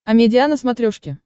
амедиа на смотрешке